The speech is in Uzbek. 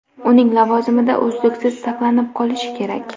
uning lavozimida uzluksizlik saqlanib qolishi kerak.